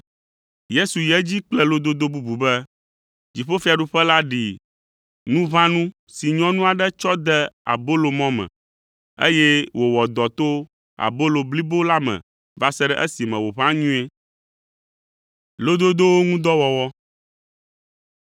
Yesu yi edzi kple lododo bubu be, “Dziƒofiaɖuƒe la ɖi nuʋãnu si nyɔnu aɖe tsɔ de abolomɔ me, eye wòwɔ dɔ to abolomɔ blibo la me va se ɖe esime wòʋã nyuie.”